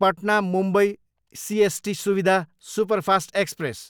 Patna, Mumbai CST Suvidha superfast express